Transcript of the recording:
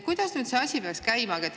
Kuidas nüüd see asi peaks käima?